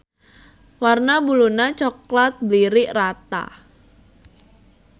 Warna Buluna coklat blirik rata.